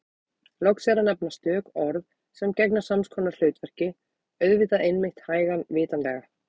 Loks er að nefna stök orð sem gegna sams konar hlutverki: auðvitað einmitt hægan vitanlega